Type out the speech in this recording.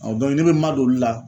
Ɔ bɔn ne be n ma don olu la